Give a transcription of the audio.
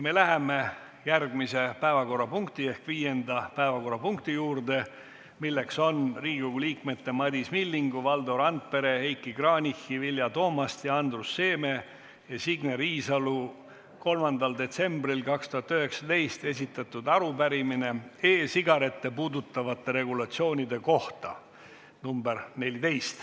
Me läheme järgmise päevakorrapunkti ehk viienda päevakorrapunkti juurde, milleks on Riigikogu liikmete Madis Millingu, Valdo Randpere, Heiki Kranichi, Vilja Toomasti, Andrus Seeme ja Signe Riisalo 3. detsembril 2019 esitatud arupärimine e-sigarette puudutavate regulatsioonide kohta .